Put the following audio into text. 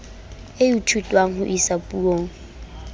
e ithutwang ho isa puong